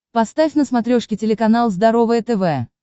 поставь на смотрешке телеканал здоровое тв